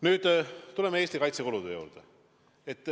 Nüüd tuleme Eesti kaitsekulude juurde.